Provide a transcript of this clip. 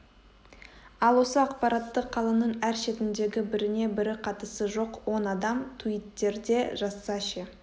ал осы ақпаратты қаланың әр шетіндегі біріне бірі қатысы жоқ он адам туиттерде жазса ше